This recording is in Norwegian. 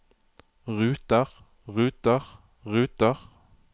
ruter ruter ruter